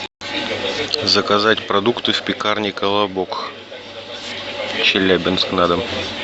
заказать продукты в пекарне колобок челябинск на дом